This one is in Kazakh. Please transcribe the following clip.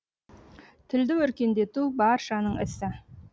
тілді өркендету баршаның ісі